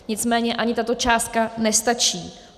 Nicméně ani tato částka nestačí.